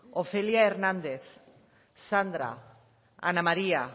ofelia hernández sandra ana maría